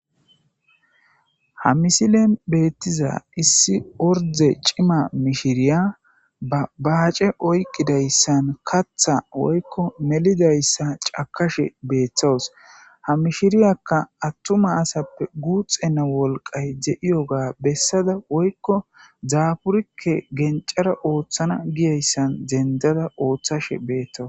Ha misilen beettiza issi orde cima mishiriya abaace oyqqidayssan katha woykko melidayssa cakashe beeththowus ha mishiriyakka attuma asappe guuxenna wolqay de'iyoga bessada woykko zaaburikke gencara ooththana giyayssan dendada ooththashe beetto.